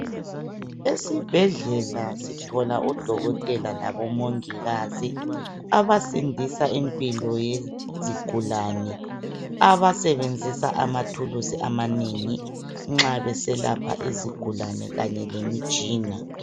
Esibhedlela sithola odokotela labo mongikazi abasindisa impilo yezigulane abasebenzisa amathulusi amanengi nxa beselapha izigulane kanye lemitshina .